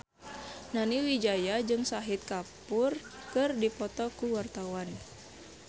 Nani Wijaya jeung Shahid Kapoor keur dipoto ku wartawan